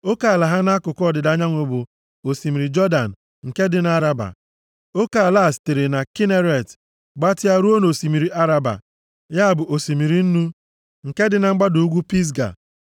Oke ala ha nʼakụkụ ọdịda anyanwụ bụ osimiri Jọdan nke dị nʼAraba. Oke ala a sitere na Kineret gbatịa ruo nʼOsimiri Araba (ya bụ Osimiri Nnu), nke dị na mgbada ugwu Pisga.